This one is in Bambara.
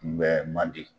Kunbɛ man di